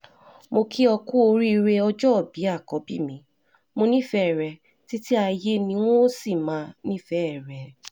mo kí ó ku oríire ọjọ́bí àkọ́bí mi mo nífẹ̀ẹ́ rẹ títí ayé ni n óò sì máa nífẹ̀ẹ́ rẹ